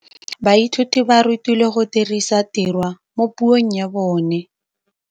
Baithuti ba rutilwe go dirisa tirwa mo puong ya bone.